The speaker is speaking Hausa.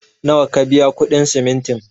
Nawa ka biya kuɗin simintin?